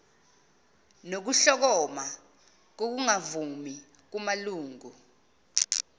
nokuhlokoma kokungavumi kumalungu